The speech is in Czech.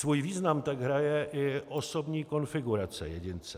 Svůj význam tak hraje i osobní konfigurace jedince.